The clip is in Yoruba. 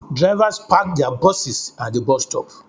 Drivers park their buses at the bus stop